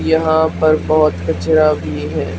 यहां पर बहुत कचरा भी है।